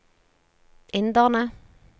inderne